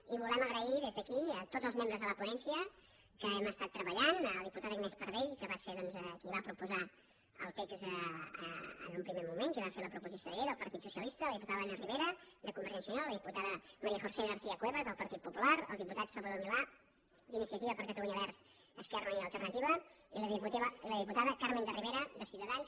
i volem donar les gràcies des d’aquí a tots els membres de la ponència amb els quals hem estat treballant la diputada agnès pardell que va ser doncs qui va proposar el text en un primer moment qui va fer la proposició de llei del partit socialista la diputada elena ribera de convergència i unió la diputada maría josé garcia cuevas del partit popular el diputat salvador milà d’iniciativa per catalunya verds esquerra unida i alternativa i la diputada carmen de rivera de ciutadans